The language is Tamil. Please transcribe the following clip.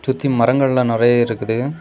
சுத்தி மரங்க எல்லா நெறைய இருக்குது.